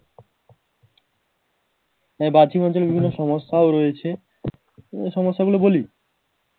এই বাহ্যিক বিভিন্ন সমস্যাও রয়েছে এই সমস্যা গুলি বলি